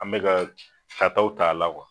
An beka ka tataw ta a la kuwa